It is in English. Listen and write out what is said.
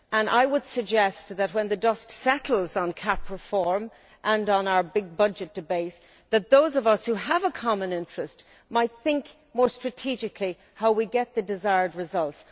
I would suggest, when the dust settles on CAP reform and on our big budget debate, that those of us who have a common interest might think more strategically about how we get the desired results.